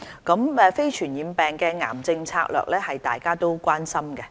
對於非傳染病防控及癌症策略，大家都關心。